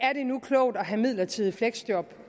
det nu er klogt at have midlertidige fleksjob